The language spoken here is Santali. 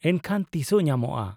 -ᱮᱱᱠᱷᱟᱱ ᱛᱤᱥᱚᱜ ᱧᱟᱢᱚᱜᱼᱟ ᱾